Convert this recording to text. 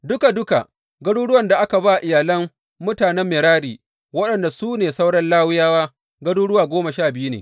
Duka duka garuruwan da aka ba iyalan mutanen Merari, waɗanda su ne sauran Lawiyawa, garuruwa goma sha biyu ne.